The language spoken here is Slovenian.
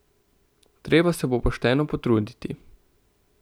Treba se bo pošteno potruditi.